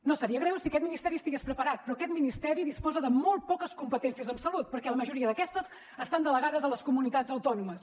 no seria greu si aquest ministeri estigués preparat però aquest ministeri disposa de molt poques competències en salut perquè la majoria d’aquestes estan delegades a les comunitats autònomes